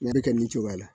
N'a bɛ kɛ nin cogoya la